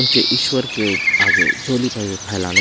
उनके ईश्वर के चोली फैलाने--